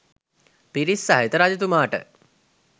පිරිස් සහිත රජතුමාට